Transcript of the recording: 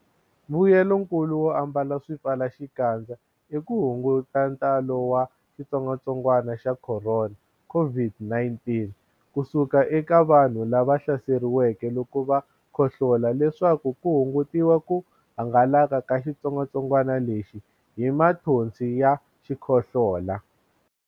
Mbuyelonkulu wo ambala swipfalaxikandza i ku hunguta ntalo wa xitsongwantsongwana xa Khorona, COVID-19 ku suka eka vanhu lava hlaseriweke loko va khohlola leswaku ku hungutiwa ku hangalaka ka xitsongwatsongwana lexi hi mathonsi ya xikhohlola.